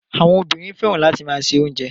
Àwọn obìnrin fẹ́ràn láti máa se oúnjẹ.